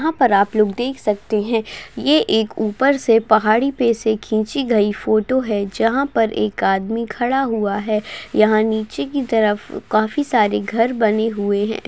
यहाँ पर आप लोग देख सकते है ये एक ऊपर से पहाड़ी पे से खींची गई फोटो जहाँ पर एक आदमी खड़ा हुआ है यहाँ नीचे की तरफ काफी सारे घर बने हुए हैं।